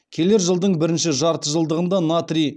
келер жылдың бірінші жартыжылдығында натрий